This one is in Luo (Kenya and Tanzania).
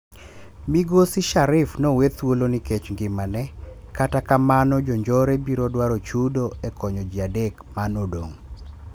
Migosi Sharif nowe thuolo nikech ngima ne, kata kamano jonjore biro dwaro chudo e konyo jiadek manodong'